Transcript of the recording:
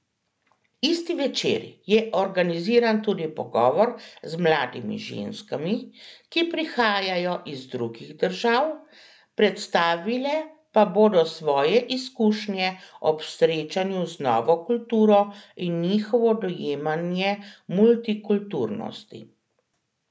Isti večer je organiziran tudi pogovor z mladimi ženskami, ki prihajajo iz drugih držav, predstavile pa bodo svoje izkušnje ob srečanju z novo kulturo in njihovo dojemanje multikulturnosti.